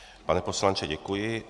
Pane poslanče, děkuji.